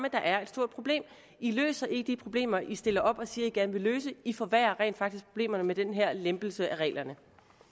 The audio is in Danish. at der er et stort problem i løser ikke de problemer i stiller op og siger at i gerne vil løse i forværrer rent faktisk problemerne med den her lempelse af reglerne